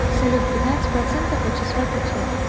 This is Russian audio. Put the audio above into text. салют пятнадцать процентов от числа пятьсот